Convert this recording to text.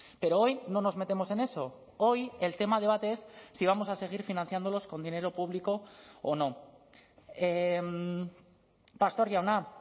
pero hoy no nos metemos en eso hoy el tema a debate es si vamos a seguir financiándolos con dinero público o no pastor jauna